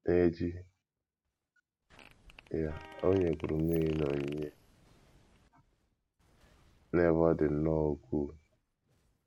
N’echi ya, o nyekwuru mmiri n’onyinye — n’ebe ọ dị nnọọ ukwuu.